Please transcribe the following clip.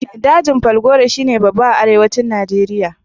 Dajin falgore shi ne babba a Arewacin Nijeriya.